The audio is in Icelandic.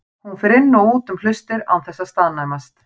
Hún fer inn og út um hlustir án þess að staðnæmast.